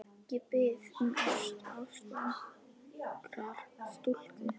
Ég bið um ást, ást ungrar stúlku.